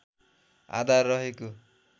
आधार रहेको